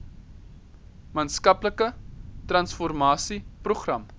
maatskaplike transformasie program